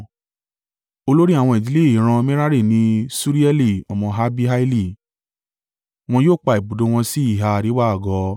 Olórí àwọn ìdílé ìran Merari ni Ṣurieli ọmọ Abihaili. Wọn yóò pa ibùdó wọn sí ìhà àríwá àgọ́.